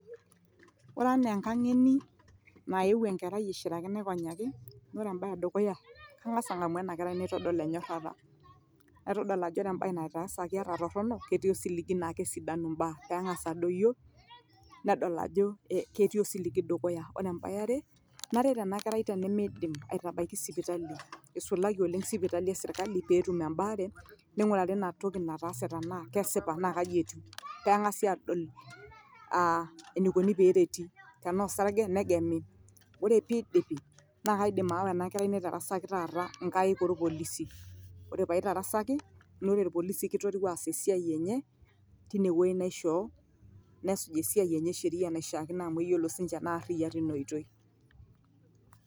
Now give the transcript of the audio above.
Ore enaa enkangeni naeuo enkerai aishiraki naikonyaki, ore ebae edukuya naa kanngamu naitodol enyorata. Naitodol ajo ore embae naitaasaki ata aah torono ketii osiligi naa kesidanu mbaa, pee engas adoyio neyiolou ajo ketii osiligi dukuya. Ore enkae yaare naret ena kerai tenemeidim aitabaya sipitali eisulaki ooleng sipitali esirkali pee etum embare ningurari ina toki nataase te naa kesipa naa kaji etiu, pee engasi adol aah enikoni pee ereti tenaa osarge negemi ore pee idipi naa kaidim aawa ena kerai naitaraski taata nkaik orpolisi ore pee aitarasaki naa ore irpolisi naa keiteru esiai enye tinewueji naishoo nesuj esiai enye esheria anaa enaishino amu eyiolo si ninche ina amu kaariyiak teina oitoi.